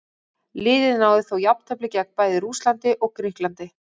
Liðið náði þó jafntefli gegn bæði Rússlandi og Grikklandi.